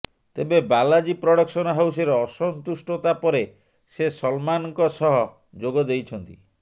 ତେବେ ବାଲାଜୀ ପ୍ରଡକ୍ସନ ହାଉସରେ ଅସନ୍ତୁଷ୍ଟତା ପରେ ସେ ସଲମାନଙ୍କ ସହ ଯୋଗଦେଇଛନ୍ତି